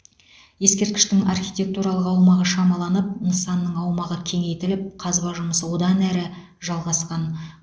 ескерткіштің архитектуралық аумағы шамаланып нысанның аумағы кеңейтіліп қазба жұмысы одан әрі жалғасқан